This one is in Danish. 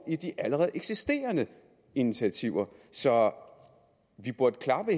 i de allerede eksisterende initiativer så vi burde klappe